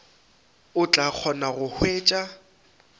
o tla kgona go hwetša